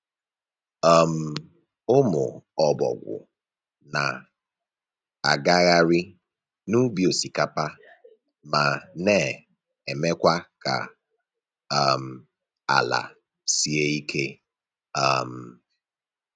um Ụmụ ọbọgwụ na-agagharị n’ubi osikapa ma na-emekwa ka um ala sie ike. um